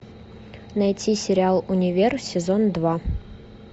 найти сериал универ сезон два